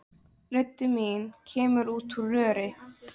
Rödd mín kemur út úr röri.